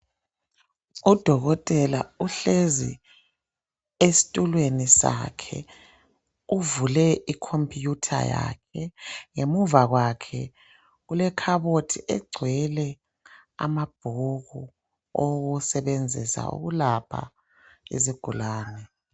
Udokotela uhlezi esitulweni sakhe uvule icomputer yakhe ngemuva kwakhe kulekhabothi egcwele amabhuku owokusebenzisa ukulapha izigulane.